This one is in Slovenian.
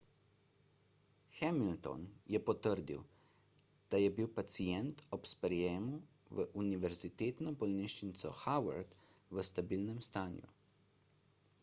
hamilton je potrdil da je bil pacient ob sprejemu v univerzitetno bolnišnico howard v stabilnem stanju